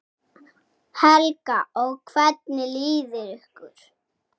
Helga: Og hvernig líður ykkur?